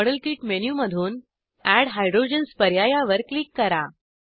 model kit मेनूमधून add hydrogens पर्यायावर click करा